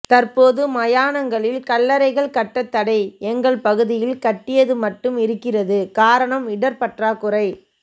தற்போது மயானங்களில் கல்லறைகள் கட்டத்தடை எங்கள் பகுதியில் கட்டியது மட்டும் இருக்கிறது காரணம் இடப்பற்றாக்குறை